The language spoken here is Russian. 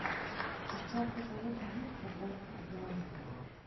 у тебя в каталоге есть аббатство даунтон